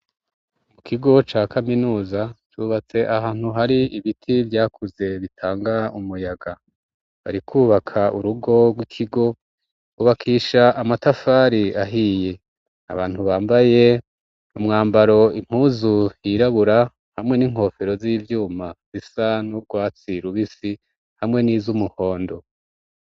Mu kigo ca kaminuza cubatse ahantu hari ibiti vyakuze bitanga umuyaga bariko bubaka urugo rw'ikigo bubakisha amatafari ahiye abantu bambaye umwambaro impuzu yirabura hamwe n'inkofero z'ivyuma zisa n'urwatsi rubisi hamwe n'izumuhondo.